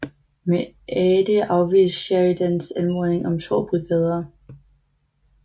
Meade afviste Sheridans anmodning om to brigader